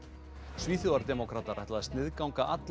svíþjóðardemókratar ætla að sniðganga alla